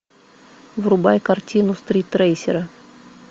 врубай картину стритрейсеры